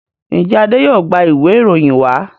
njé Ade yóò gbà Ìwé ìròyìn wa?